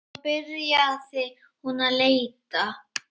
Svo byrjaði hún að leita.